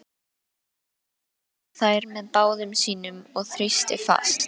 Jóra tók um þær með báðum sínum og þrýsti fast.